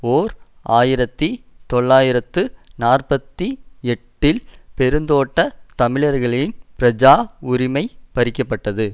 ஓர் ஆயிரத்தி தொள்ளாயிரத்து நாற்பத்தி எட்டில் பெருந்தோட்ட தமிழர்களின் பிரஜா உரிமை பறிக்கப்பட்டது